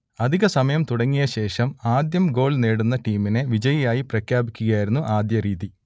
അധിക സമയം തുടങ്ങിയ ശേഷം ആദ്യം ഗോൾ നേടുന്ന ടീമിനെ വിജയിയായി പ്രഖ്യാപിക്കുകയായിരുന്നു ആദ്യ രീതി